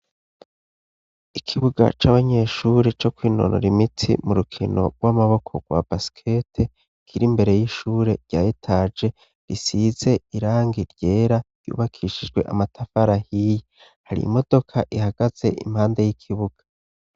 Ikibuga cabanyeshuri co kwinonora imiti mu rukino rw'amaboko rwa basikete kiri mbere y'ishure ryayitage risize irangi ryera ryubakishijwe amatafara hiye hari imodoka ihagaze impande y'ikibuga.